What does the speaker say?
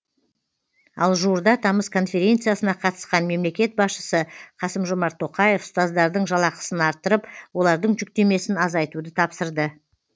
ал жуырда тамыз конференциясына қатысқан мемлекет басшысы қасым жомарт тоқаев ұстаздардың жалақысын арттырып олардың жүктемесін азайтуды тапсырды